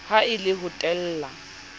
ha e le ho teela